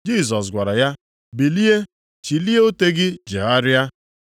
Jisọs gwara ya, “Bilie, chilie ute gị jegharịa.”